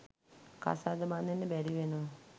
කසාද බඳින්න බැරිවෙනවා.